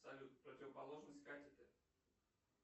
салют противоположность катеты